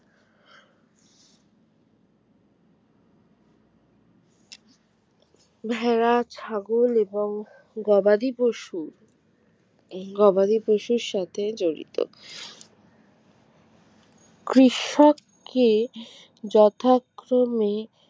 ভেড়া ছাগল এবং গবাদি পশু এই গবাদি পশুর সাথে জড়িত কৃষককে যথাক্রমে